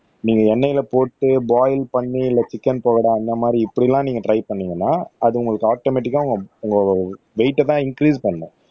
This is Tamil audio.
நீங்க எண்ணெயில போட்டு பாயில் பண்ணி இல்ல சிக்கன் பவுடர் அந்த மாரி இப்படியெல்லாம் நீங்க ட்ரை பண்ணீங்கன்னா அது உங்களுக்கு ஆட்டோமேட்டிக்கா உங்க உங்க வெயிட்ட தான் இன்கிரீஸ் பண்ணும்